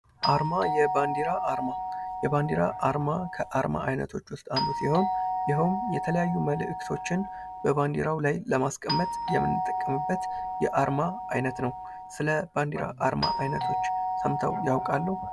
አርማ የባንዲራ አርማ የባንዲራ አርማ ከአርማ አይነቶች ውስጥ አንዱ ሲሆን ይህም የተለያዩ መልእክቶችን በባንዲራው ላይ ለማስተላለፍ የምን ጥቅምበት የአርማ አይነት ነው። ስለ ባንዲራ አርማ አይነቶች ሰምተው ያውቃሉ?